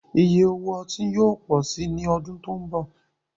Ìyẹ̀ òwò ọ̀tí yóò pọ̀ sí ní ọ̀dún tó nbọ̀